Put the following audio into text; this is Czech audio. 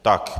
Tak.